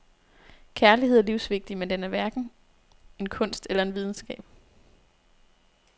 Kærlighed er livsvigtig, men den er hverken en kunst eller en videnskab.